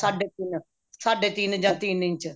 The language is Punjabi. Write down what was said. ਸਾਢੇ ਤਿੰਨ ਸਾਢੇ ਤਿੰਨ ਇੰਚ ਜਾਂ ਤਿੰਨ ਇੰਚ